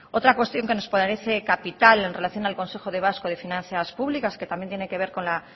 otra cuestión que nos parece capital en relación al consejo vasco de finanzas públicas que también tiene que ver con la